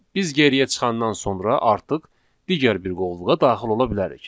Biz geriyə çıxandan sonra artıq digər bir qovluğa daxil ola bilərik.